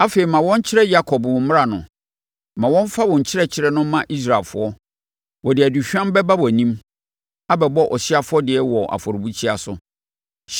Afei, ma wɔnkyerɛ Yakob wo mmara no. Ma wɔmfa wo nkyerɛkyerɛ no mma Israelfoɔ. Wɔde aduhwam bɛba wʼanim Abɛbɔ ɔhyeɛ afɔdeɛ wɔ afɔrebukyia so.